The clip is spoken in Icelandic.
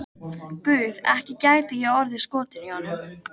Guð, ekki gæti ég orðið skotin í honum.